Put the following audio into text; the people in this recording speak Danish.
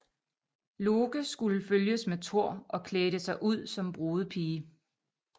Loke skulle følges med Thor og klædte sig ud som brudepige